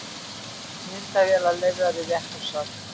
Myndavélar leyfðar í réttarsal